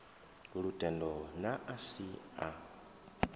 lutendo na a si a